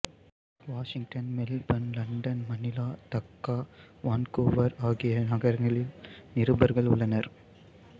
Washington Melbourne London Manila Dhaka Vancouver ஆகிய நகரங்களில் நிருபர்கள் உள்ளனர்